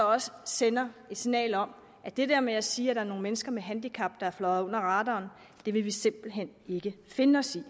også sender et signal om at det der med at sige at der er nogle mennesker med handicap der er fløjet under radaren vil vi simpelt hen ikke finde os i